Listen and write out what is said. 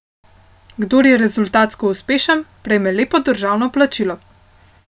Kdor je rezultatsko uspešen, prejme lepo državno plačilo.